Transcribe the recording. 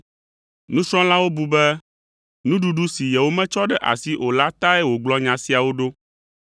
Nusrɔ̃lawo bu be nuɖuɖu si yewometsɔ ɖe asi o la tae wògblɔ nya siawo ɖo.